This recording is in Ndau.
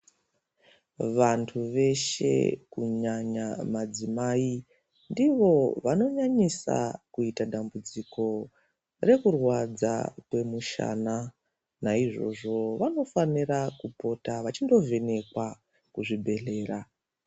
Vantu veshe kunyanya madzimai ndivo vanonyanyisa kuita dambudziko rekurwadza kwemushana. Naizvozvo vanofanira kupota vachindo vhenekwa kuzvibhedhlera.